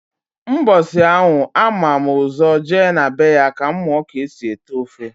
Mbọsi anwa a mam ụzọ je na be ya ka m muo k'esi ete ofe.